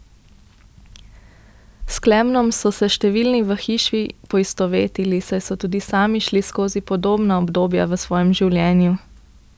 S Klemnom so se številni v hiši poistovetili, saj so tudi sami šli skozi podobna obdobja v svojem življenju.